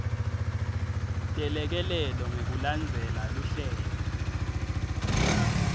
telekelelo ngekulandzela luhlelo